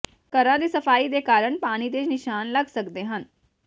ਘਰਾਂ ਦੀ ਸਫਾਈ ਦੇ ਕਾਰਨ ਪਾਣੀ ਦੇ ਨਿਸ਼ਾਨ ਲੱਗ ਸਕਦੇ ਹਨ